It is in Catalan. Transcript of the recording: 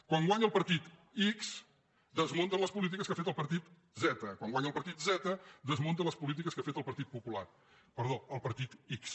quan gua·nya el partit x desmunta les polítiques que ha fet el par·tit z quan guanya el partit z desmunta les polítiques que ha fet el partit x